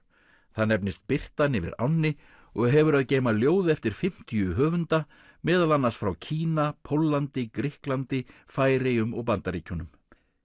það nefnist birtan yfir ánni og hefur að geyma ljóð eftir fimmtíu höfunda meðal annars frá Kína Póllandi Grikklandi Færeyjum og Bandaríkjunum